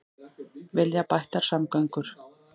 Vilja bættar samgöngur